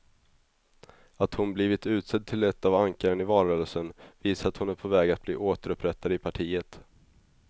Att hon blivit utsedd till ett av ankaren i valrörelsen visar att hon är på väg att bli återupprättad i partiet.